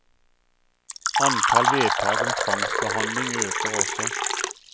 Antall vedtak om tvangsbehandling øker også.